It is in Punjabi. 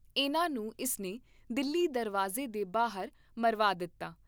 ਇਨ੍ਹਾਂ ਨੂੰ ਇਸ ਨੇ ਦਿੱਲੀ ਦਰਵਾਜ਼ੇ ਦੇ ਬਾਹਰ ਮਰਵਾ ਦਿੱਤਾ।